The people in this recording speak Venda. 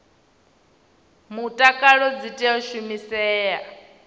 mutakalo dzi tea u shumisea